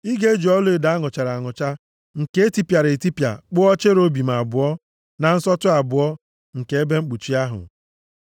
Ị ga-eji ọlaedo a nụchara anụcha, nke e tipịara etipịa kpụọ cherubim abụọ na nsọtụ abụọ nke ebe mkpuchi ahụ.